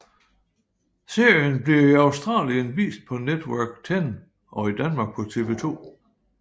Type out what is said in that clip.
Serien bliver i Australien vist på Network Ten og i Danmark på TV2